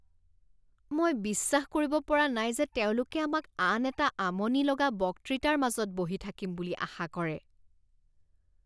মই বিশ্বাস কৰিব পৰা নাই যে তেওঁলোকে আমাক আন এটা আমনি লগা বক্তৃতাৰ মাজত বহি থাকিম বুলি আশা কৰে।